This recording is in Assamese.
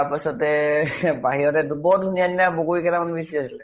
তাৰ পাছতে বৰ ধুনিয়া ধুনিয়া বগৰী কেইটামান হৈছে